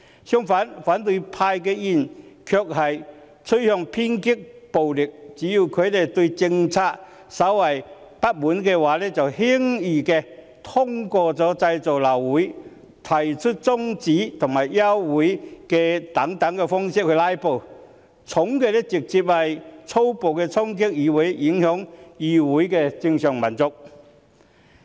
相反，反對派議員卻趨向偏激暴力，只要他們對政策稍為不滿，輕則透過製造流會、提出中止待續及休會待續議案等方式來"拉布"，重則粗暴衝擊議會，影響議會的正常運作。